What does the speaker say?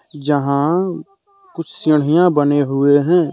जहां कुछ बनें हुए हैं।